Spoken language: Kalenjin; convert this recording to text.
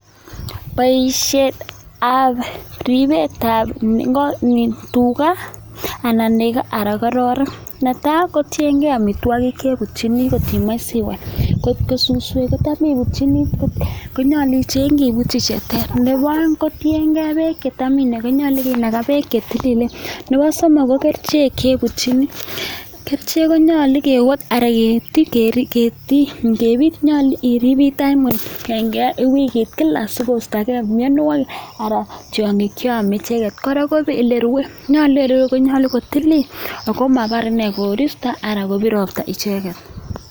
Boisietab ripetab tuga anan nego, anan ng'rorek. Netai kotienge amitwogik chebutyini ngot imoche siwal. Ngotko suswek kotam ibutyini konyolu ichengi ibutyi che ter, nebo oeng kotienge beek che tam inogoi, nyolu kinaga beek che tililen. Nebo somok ko kerichek che ibutyin, kerichek konyolu nyolu ibit wikit kila sigostoge mianwogik anan tiong'ik che ome icheget. Kora ko ole rwe, nyolu ole rwe konyolu kotilil ago mobar ine koristo anan kobir ropta icheget.